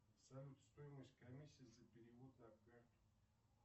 салют стоимость комиссии за перевод